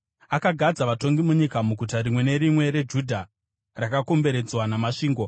Akagadza vatongi munyika muguta rimwe nerimwe reJudha rakakomberedzwa namasvingo.